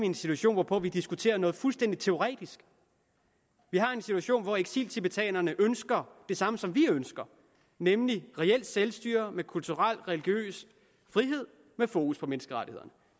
en situation hvor vi diskuterer noget fuldstændig teoretisk vi har en situation hvor eksiltibetanerne ønsker det samme som vi ønsker nemlig reelt selvstyre med kulturel og religiøs frihed med fokus på menneskerettigheder